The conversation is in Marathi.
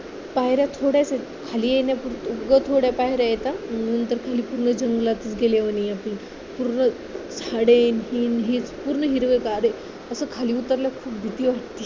पायऱ्या थोड्याच आहेत खाली येण्यापुरतं थोड्या पायऱ्या आहेत हा नंतर खाली पूर्ण जंगलात गेल्यावानी आहे पूर्ण झाडे पूर्ण हिरवंगार आहे असं खाली उतरलं खूप भीती वाटती